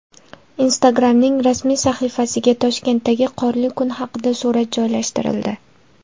Instagram’ning rasmiy sahifasiga Toshkentdagi qorli kun haqida surat joylashtirildi .